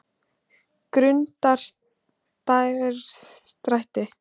Grundarstræti